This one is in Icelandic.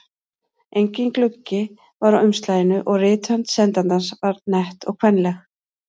Enginn gluggi var á umslaginu og rithönd sendandans var nett og kvenleg.